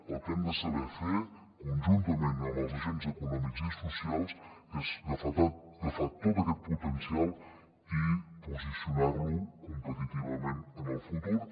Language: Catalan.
el que hem de saber fer conjuntament amb els agents econòmics i socials és agafar tot aquest potencial i posicionar lo competitivament en el futur